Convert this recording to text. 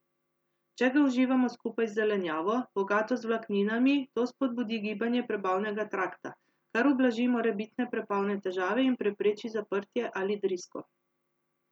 Če ga uživamo skupaj z zelenjavo, bogato z vlakninami, to spodbudi gibanje prebavnega trakta, kar ublaži morebitne prebavne težave in prepreči zaprtje ali drisko.